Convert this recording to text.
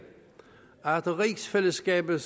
at rigsfællesskabet